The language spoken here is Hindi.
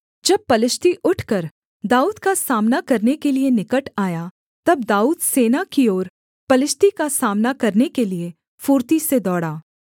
जब पलिश्ती उठकर दाऊद का सामना करने के लिये निकट आया तब दाऊद सेना की ओर पलिश्ती का सामना करने के लिये फुर्ती से दौड़ा